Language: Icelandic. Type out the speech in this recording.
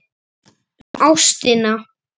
Um ástina.